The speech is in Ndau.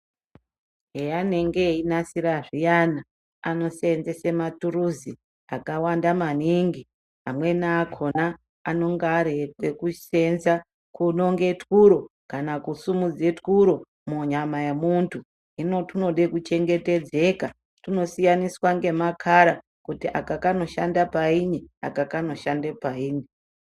Paanenge veinasira zviyani anosenzes maturuzi akawanda maningi amweni akona anenge ari ekusenza kunonga twuro kana kusimudza twuro munyama yemuntu hino zvinoda kuchengetedzwa hino zvinosiyana makara kuti aka kanoshanda payini aka kanoshanda payini.